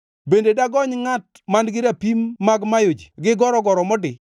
Bende dagony ngʼat man-gi rapim mag mayo ji gi gorogoro modi?